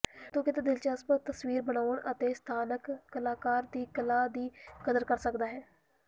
ਤੂੰ ਕਿੱਥੇ ਦਿਲਚਸਪ ਤਸਵੀਰ ਬਣਾਉਣ ਅਤੇ ਸਥਾਨਕ ਕਲਾਕਾਰ ਦੀ ਕਲਾ ਦੀ ਕਦਰ ਕਰ ਸਕਦਾ ਹੈ